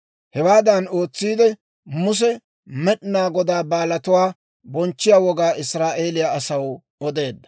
Hewaadan ootsiide, Muse Med'inaa Godaa Baalatuwaa bonchchiyaa wogaa Israa'eeliyaa asaw odeedda.